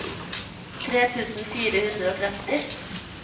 tre tusen fire hundre og tretti